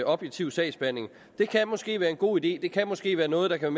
objektiv sagsbehandling det kan måske være en god idé og det kan måske være noget der kan